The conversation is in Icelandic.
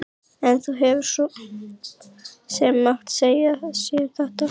En hún hefði svo sem mátt segja sér þetta.